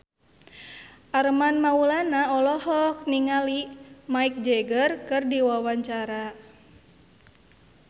Armand Maulana olohok ningali Mick Jagger keur diwawancara